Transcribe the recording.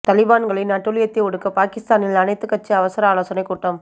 தலிபான்களின் அட்டூழியத்தை ஒடுக்க பாகிஸ்தானில் அனைத்துக் கட்சி அவசர ஆலோசனைக் கூட்டம்